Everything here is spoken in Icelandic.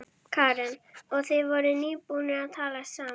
Karen: Og þið voruð nýbúnir að talast saman?